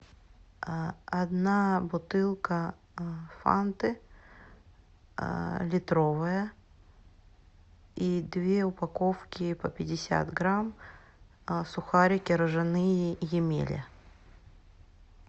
одна бутылка фанты литровая и две упаковки по пятьдесят грамм сухарики ржаные емеля